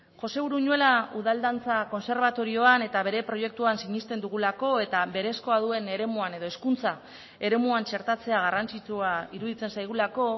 jose uruñuela udal dantza kontserbatorioan eta bere proiektuan sinesten dugulako eta berezkoa duen eremuan edo hezkuntza eremuan txertatzea garrantzitsua iruditzen zaigulako